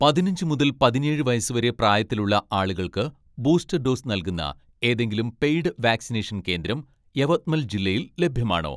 പതിനഞ്ച് മുതൽ പതിനേഴ് വയസ്സ് വരെ പ്രായത്തിലുള്ള ആളുകൾക്ക്, ബൂസ്റ്റർ ഡോസ് നൽകുന്ന ഏതെങ്കിലും പെയ്ഡ് വാക്‌സിനേഷൻ കേന്ദ്രം യവത്മൽ ജില്ലയിൽ ലഭ്യമാണോ